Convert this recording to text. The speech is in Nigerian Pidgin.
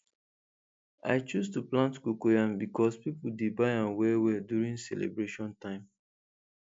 i choose to plant cocoyam becos people dey buy am well well during celebration time